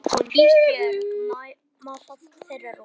Ísbjörg má fá þeirra rúm.